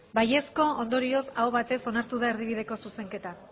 bai ondorioz aho batez onartu da erdibideko zuzenketa